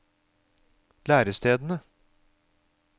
lærestedene